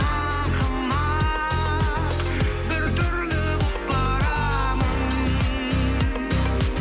ақымақ біртүрлі болып барамын